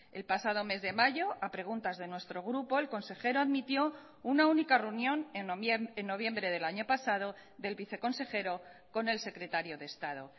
el pasado mes de mayo a preguntas de nuestro grupo el consejero admitió una única reunión en noviembre del año pasado del viceconsejero con el secretario de estado